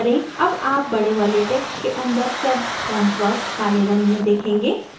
अब आप बड़े वाले text के अंदर शब्द fontwork काले रंग में देखेंगे